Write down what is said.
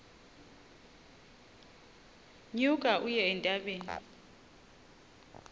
nyuka uye entabeni